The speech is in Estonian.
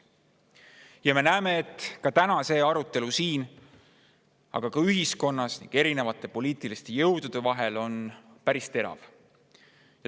Ja me näeme, et ka täna see arutelu siin, aga ka ühiskonnas ning erinevate poliitiliste jõudude vahel on päris terav.